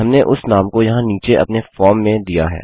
हमने उस नाम को यहाँ नीचे अपने फॉर्म में दिया है